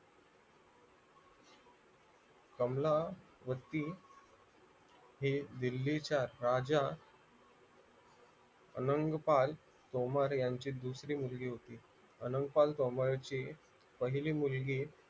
कमलावती हि दिल्लीच्या राजा अलंकपाल डोंबारी यांची दुसरी मुलगी होती अलंकपाल डोंबाऱ्यांची पहिली मुलगी